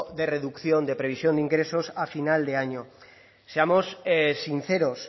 de reducción de previsión de ingresos a final de año seamos sinceros